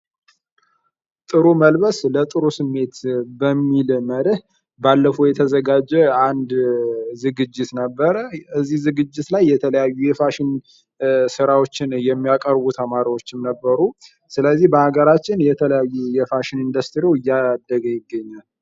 ጥሩ መልበስ ለጥሩ ስሜት በሚል መርህ ባለፈው የተዘጋጀ አንድ ዝግጅት ነበረ እዚህ ዝግጅት ላይ የተለያዩ የፋሽን ስራዎችን የሚያቀርቡ ተማሪዎችን ነበሩ ስለዚህ በአገራችን የተለያዩ የፋሽን ኢንዱስትሪው እያደገ ይገኛል ::